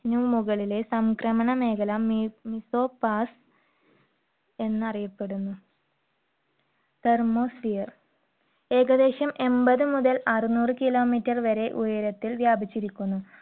നു മുകളിലെ സംക്രമണ മേഖല mesopause എന്നറിയപ്പെടുന്നു. thermosphere ഏകദേശം എൺപത് മുതൽ അറുനൂറ് kilometer വരെ ഉയരത്തിൽ വ്യാപിച്ചിരിക്കുന്നു.